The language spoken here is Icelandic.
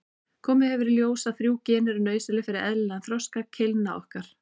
Komið hefur í ljós að þrjú gen eru nauðsynleg fyrir eðlilegan þroska keilna okkar.